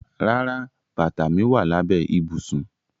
Rárá, bata mi wa labẹ ibusun.